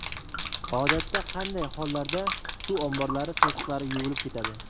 Odatda qanday hollarda suv omborlari to‘siqlari yuvilib ketadi?